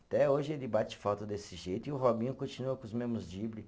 Até hoje ele bate falta desse jeito e o Robinho continua com os mesmos dribles